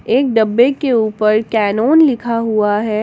एक डब्बे के ऊपर कैनोन लिखा हुआ है।